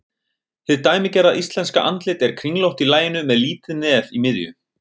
Hið dæmigerða íslenska andlit er kringlótt í laginu með lítið nef í miðju.